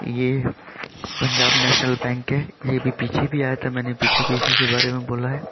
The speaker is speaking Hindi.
ये पंजाब नेशनल बैंक है। ये भी पीछे भी आया था मैंने पीछे भी इस के बारे में बोला है।